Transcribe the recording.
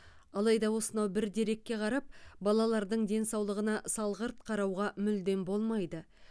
алайда осынау бір дерекке қарап балалардың денсаулығына салғырт қарауға мүлдем болмайды